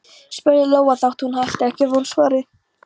spurði Lóa þótt hún ætti ekki von á svari.